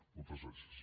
moltes gràcies